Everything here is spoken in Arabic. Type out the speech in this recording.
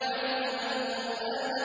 عَلَّمَ الْقُرْآنَ